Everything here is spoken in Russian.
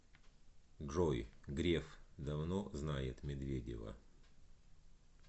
джой греф давно знает медведева